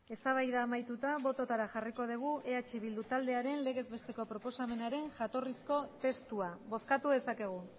eztabaida amaituta botoetara jarriko dugu eh bildu taldearen legez besteko proposamenaren jatorrizko testua bozkatu dezakegu